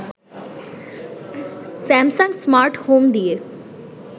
Samsung smart home দিয়ে